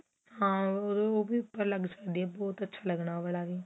ਹਾਂ ਉਹ ਵੀ ਉੱਪਰ ਲੱਗ ਸਕਦੀ ਏ ਬਹੁਤ ਅੱਛਾ ਲੱਗਣਾ ਉਹ ਵਾਲਾ ਵੀ